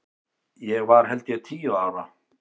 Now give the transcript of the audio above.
Ég var held ég tíu ára.